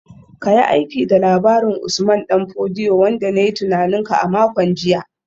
Ka yi aiki da labarin Usman Dan Fodio wanda na yi tunanin ka a makon jiya